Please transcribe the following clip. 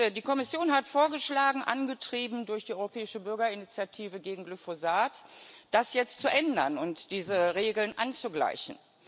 Die Kommission hat vorgeschlagen angetrieben durch die Europäische Bürgerinitiative gegen Glyphosat das jetzt zu ändern und diese Regeln anzugleichen.